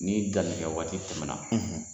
Ni danni kɛ waati tɛmɛna